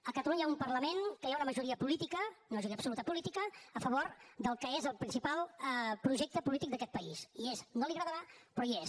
a catalunya hi ha un parlament que hi ha una majoria política una majoria absoluta política a favor del que és el principal projecte polític d’aquest país hi és no li agradarà però hi és